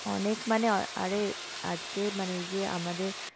অনেক মানে আরে আজকে মানে এই যে আমাদের